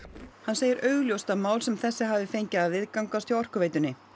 hann segir augljóst að mál sem þessi hafi fengið að viðgangast hjá Orkuveitunni